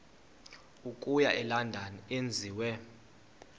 okuya elondon enziwe